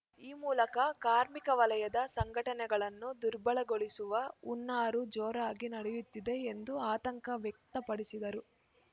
ಈ ಮೂಲಕ ಕಾರ್ಮಿಕ ವಲಯದ ಸಂಘಟನೆಗಳನ್ನು ದುರ್ಬಲಗೊಳಿಸುವ ಹುನ್ನಾರು ಜೋರಾಗಿ ನಡೆಯುತ್ತಿದೆ ಎಂದು ಆತಂಕ ವ್ಯಕ್ತಪಡಿಸಿದರು